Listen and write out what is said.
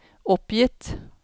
oppgitt